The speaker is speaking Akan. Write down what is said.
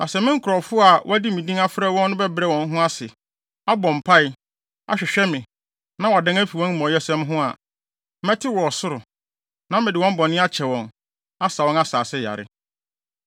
Na sɛ me nkurɔfo a wɔde me din frɛ wɔn no bɛbrɛ wɔn ho ase, abɔ mpae, ahwehwɛ me, na wɔadan afi wɔn amumɔyɛsɛm ho a, mɛte wɔ ɔsoro, na mede wɔn bɔne akyɛ wɔn, asa wɔn asase yare.